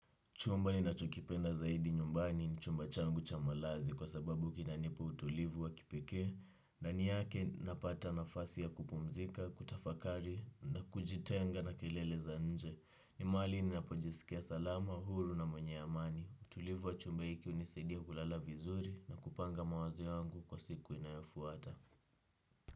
Chumba ninachokipenda zaidi nyumbani ni chumba changu cha malazi kwa sababu kinanipa utulivu wa kipekee na ni yake napata nafasi ya kupumzika, kutafakari na kujitenga na kelele za nje ni mahali ninapojisikia salama, huru na mwenye amani. Utulivu wa chumba hiki hunisaidia kulala vizuri na kupanga mawazo yangu kwa siku inayofuata.